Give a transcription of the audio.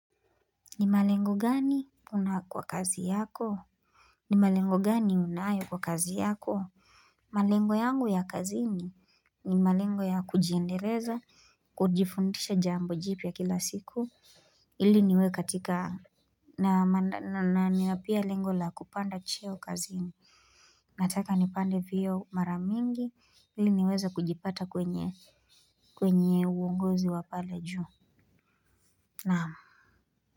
Ni malengo gani una kwa kazi yako ni malengo gani unayo kwa kazi yako malengo yangu ya kazini ni malengo ya kujiendeleza kujifundisha jambo jipya kila siku ili niwe katika na pia lengo la kupanda cheo kazini nataka nipande vyeo mara mingi ili niweze kujipata kwenye kwenye uongozi wa pale juu naam.